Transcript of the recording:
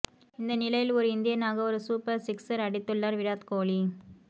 இந்த நிலையில் ஒரு இந்தியனாக ஒரு சூப்பர் சிக்ஸர் அடித்துள்ளார் விராத் கோஹ்லி